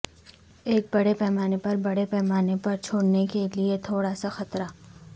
ایک بڑے پیمانے پر بڑے پیمانے پر چھوڑنے کے لئے تھوڑا سا خطرہ